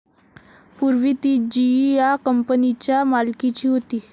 पूर्वी ती जीई या कंपनीच्या मालकीची होती.